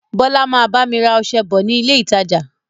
Bọlá máa bá mi rà ọsẹ bọ̀ ni ilé ìtajà